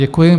Děkuji.